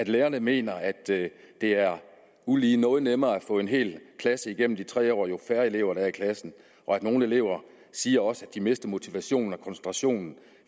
lærerne mener at det er ulige noget nemmere at få en hel klasse igennem de tre år jo færre elever der er i klassen nogle elever siger også at de mister motivationen og koncentrationen